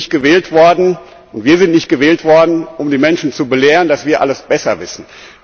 Ich bin nicht gewählt worden und wir sind nicht gewählt worden um die Menschen zu belehren, dass wir alles besser wissen.